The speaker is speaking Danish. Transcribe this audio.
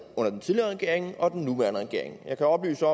under den tidligere regering og under den nuværende regering jeg kan oplyse